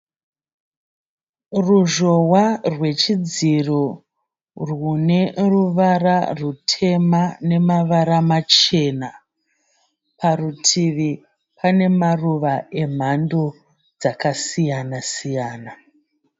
Ruzhowa rwechidziro rwune ruvara rutema nemavara machena. Parutivi pane maruva emhando dzakasiyana siyana.